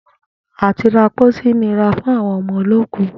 À ti ra pósí nira fún àwo̩n o̩mo̩ olóòkú